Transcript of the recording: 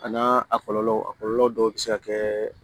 A n'a a kɔlɔlɔ a kɔlɔlɔ dɔw bɛ se ka kɛ